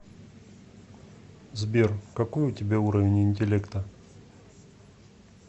сбер какой у тебя уровень интеллекта